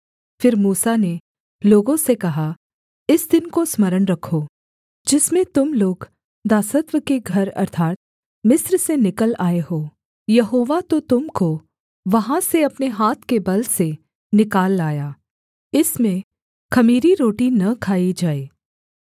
फिर मूसा ने लोगों से कहा इस दिन को स्मरण रखो जिसमें तुम लोग दासत्व के घर अर्थात् मिस्र से निकल आए हो यहोवा तो तुम को वहाँ से अपने हाथ के बल से निकाल लाया इसमें ख़मीरी रोटी न खाई जाए